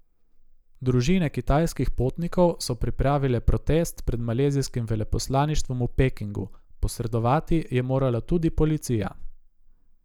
Družine kitajskih potnikov so pripravile protest pred malezijskim veleposlaništvom v Pekingu, posredovati je morala tudi policija.